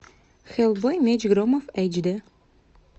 хеллбой меч громов эйч д